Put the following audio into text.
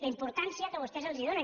la importància que vostès hi donen